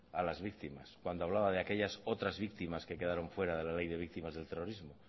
a las víctimas cuando hablaba de aquellas otras víctimas que quedaron fuera de las ley de víctimas del terrorismo